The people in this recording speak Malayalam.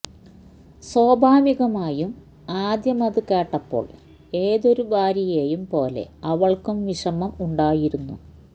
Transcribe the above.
സ്വാഭാവികമായും ആദ്യമത് കേട്ടപ്പോള് ഏതൊരു ഭാര്യയേയും പോലെ അവള്ക്കും വിഷമം ഉണ്ടായിരുന്നു